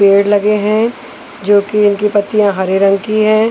पेड़ लगे हैं जोकि इनकी पत्तियाँ हरे रंग की है।